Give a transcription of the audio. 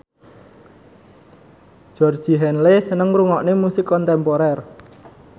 Georgie Henley seneng ngrungokne musik kontemporer